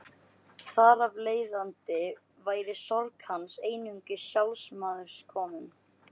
Þar af leiðandi væri sorg hans einungis sjálfsmeðaumkun.